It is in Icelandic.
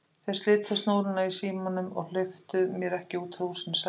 Þeir slitu snúruna á símanum og hleyptu mér ekki út úr húsinu sagði Tóti.